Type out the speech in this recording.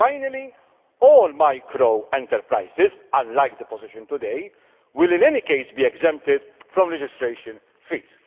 Finally, all micro enterprises unlike the position today will in any case be exempted from registration fees.